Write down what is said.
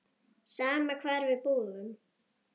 Sama hvar við búum.